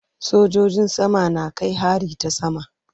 Sojojin sama na kai hari ta sama.